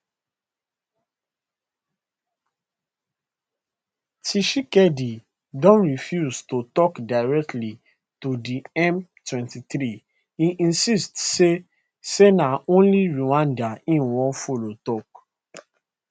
tshisekedi don refuse to tok directly to di m23 e insist say say na only rwanda e wan follow tok